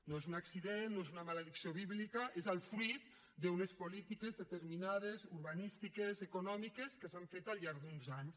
no és un accident no és una maledicció bíblica és el fruit d’unes polítiques determinades urbanístiques econòmiques que s’han fet al llarg d’uns anys